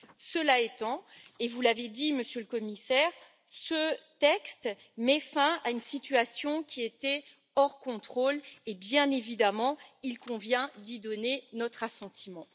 Cela étant, comme vous l'avez dit, Monsieur le Commissaire, ce texte met fin à une situation qui était hors contrôle et, bien évidemment, il convient d'y donner notre assentiment.